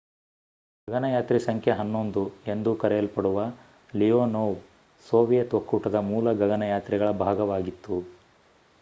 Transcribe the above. ಗಗನಯಾತ್ರಿ ಸಂಖ್ಯೆ 11 ಎಂದೂ ಕರೆಯಲ್ಪಡುವ ಲಿಯೊನೊವ್ ಸೋವಿಯತ್ ಒಕ್ಕೂಟದ ಮೂಲ ಗಗನಯಾತ್ರಿಗಳ ಭಾಗವಾಗಿತ್ತು